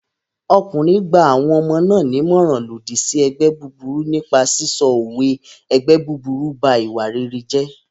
Ọkùnrin gba àwọn ọmọ náà nímọ̀ràn lòdì sí ẹgbẹ́ búburú nípa sísọ òwe "ẹgbẹ́ búburú m ba ìwà rere jẹ́"